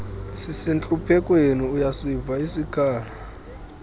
sisentluphekweni uyasiva isikhalo